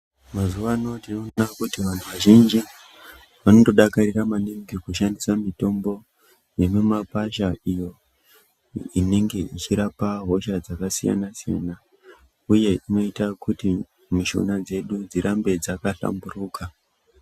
Mazuwano tinoona kuti vantu vazhinji vanotodakarira maningi kushandisa mitombo yemumakwasha iyo inenge ichirapa hosha dzakasiyana siyana uye unoita kuti mushuna dzedu dzirambe dzakahlamburuka.